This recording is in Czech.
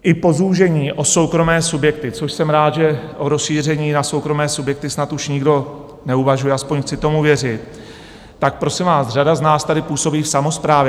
I po zúžení o soukromé subjekty, což jsem rád, že o rozšíření na soukromé subjekty snad už nikdo neuvažuje, aspoň chci tomu věřit, tak prosím vás, řada z nás tady působí v samosprávě.